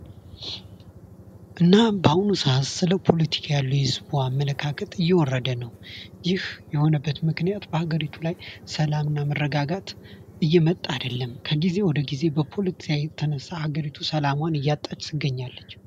እና በአሁኑ ሰአት ህዝቡ ስለ ፖለቲካ ያለው አመለካከት እየወረደ ነው። ይህ የሆነበት ምክንያት በሀገሪቱ ላይ ሰላምና መረጋጋት እየመጣ አይደለም። ከጊዜ ወደ ጊዜ በፖለቲካ የተነሳ ሀገሪቱ ሰላሟን እያጣች ትገኛለች።